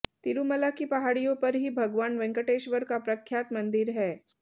तिरुमला की पहाड़ियों पर ही भगवान वेंकटेश्वर का प्रख्यात मंदिर है